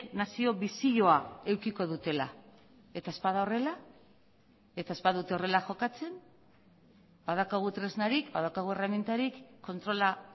nazio bizioa edukiko dutela eta ez bada horrela eta ez badute horrela jokatzen badaukagu tresnarik badaukagu erremintarik kontrola